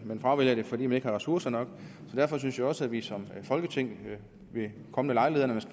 man fravælger det fordi man ikke har ressourcer nok så derfor synes jeg også at vi som folketing ved kommende lejligheder når